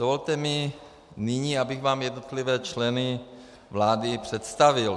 Dovolte mi nyní, abych vám jednotlivé členy vlády představil.